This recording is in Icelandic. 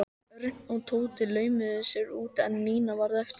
Örn og Tóti laumuðu sér út en Nína varð eftir.